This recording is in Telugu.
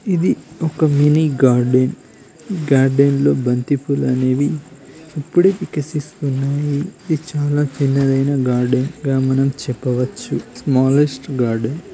ఇది ఒక మినీ గార్డెన్ ఈ గార్డెన్ లో బంతిపూలు అనేవి ఇప్పుడే వికసిస్తున్నాయి ఇది చాలా చిన్నదైనా గార్డెన్ గా మనం చెప్పవచ్చు స్మాలెస్ట్ గార్డెన్